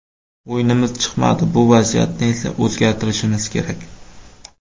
O‘yinimiz chiqmadi, bu vaziyatni esa o‘zgartirishimiz kerak.